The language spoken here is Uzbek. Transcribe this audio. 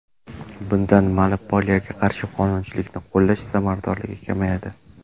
Bundan monopoliyaga qarshi qonunchilikni qo‘llash samaradorligi kamayadi.